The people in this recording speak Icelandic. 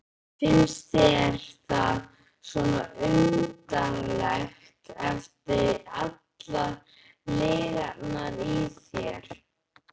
Finnst þér það svo undarlegt eftir allar lygarnar í þér?